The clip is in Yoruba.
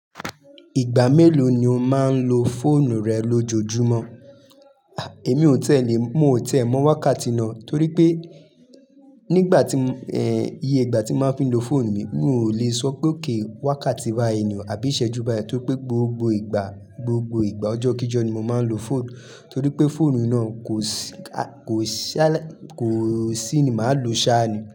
Ìgbà mélòó ni o máa ń lo fóònù rẹ lójoojúmọ́? Èmi ò tẹ́lẹ̀, mo ò tiẹ́ mọ́ wákàtí náà torí pé nígbà tí, ẹ́, iye ìgbà tí mo fi ń lo fóònù mi, mi ò lè sọ pé óké wákàtí bayii niòò, àbí ìṣẹ́jú báyìí torí pé gbogbo ìgbà, gbogbo ìgbà ọjọ́ kí Jọ́ ni mo máa ń lo fóònù torí pé fóònù náà kò sí ká, kò sí á láì, kò sí ni màá lo sá ni.